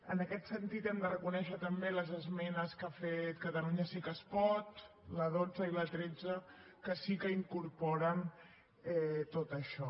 en aquest sentit hem de reconèixer també les esmenes que ha fet catalunya sí que es pot la dotze i la tretze que sí que incorporen tot això